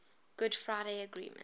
good friday agreement